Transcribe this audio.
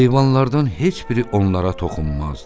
Heyvanlardan heç biri onlara toxunmazdı.